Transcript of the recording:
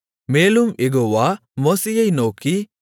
மேலும் யெகோவா மோசேயை நோக்கி